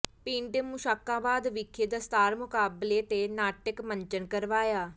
ਪਿੰਡ ਮੁਸ਼ਕਾਬਾਦ ਵਿਖੇ ਦਸਤਾਰ ਮੁਕਾਬਲੇ ਤੇ ਨਾਟਕ ਮੰਚਨ ਕਰਵਾਇਆ